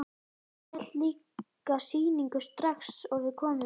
Ég hélt líka sýningu strax og við komum.